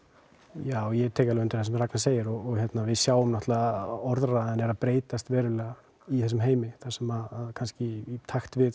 já ég tek alveg undir það sem Ragna segir og við sjáum náttúrulega að orðræðan er að breytast verulega í þessum heimi þar sem í takt við